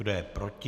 Kdo je proti?